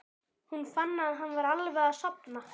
Hún fann að hann var alveg að sofna.